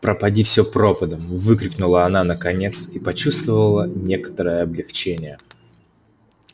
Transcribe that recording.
пропади все пропадом выкрикнула она наконец и почувствовала некоторое облегчение